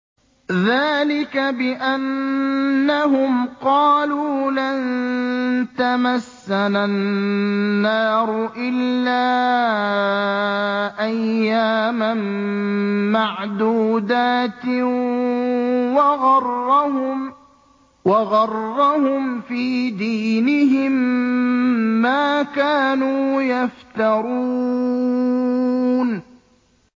ذَٰلِكَ بِأَنَّهُمْ قَالُوا لَن تَمَسَّنَا النَّارُ إِلَّا أَيَّامًا مَّعْدُودَاتٍ ۖ وَغَرَّهُمْ فِي دِينِهِم مَّا كَانُوا يَفْتَرُونَ